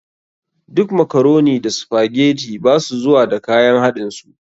Duk makaroni da sphagetii ba su zuwa da kayan haɗin su.